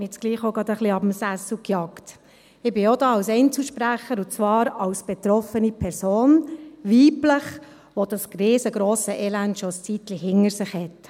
Ich bin auch als Einzelsprecherin hier, und zwar als betroffene Person, weiblich, die dieses riesengrosse Elend schon eine Weile hinter sich hat.